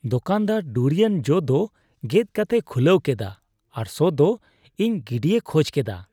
ᱫᱳᱠᱟᱱᱫᱟᱨ durian ᱡᱚ ᱫᱚ ᱜᱮᱫ ᱠᱟᱛᱮᱭ ᱠᱷᱩᱞᱟᱹᱣ ᱠᱮᱫᱟ ᱟᱨ ᱥᱚᱼᱫᱚ ᱤᱧ ᱜᱤᱰᱤᱭ ᱠᱷᱚᱡ ᱠᱮᱫᱟ ᱾